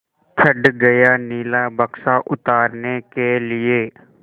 चढ़ गया नीला बक्सा उतारने के लिए